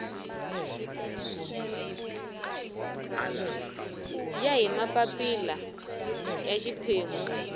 ya hi mapapila ya xiphemu